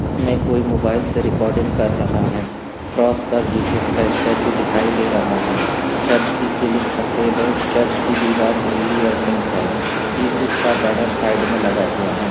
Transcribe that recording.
इसमें कोई मोबाइल से रिकॉर्डिंग कर रहा है। क्रॉस पर जीसस का स्टेच्यू दिखाई दे रहा है। चर्च की सीलिंग सफ़ेद है। चर्च की दीवार नीली और पिंक है। जीसस का बैनर साईड में लगा हुआ है।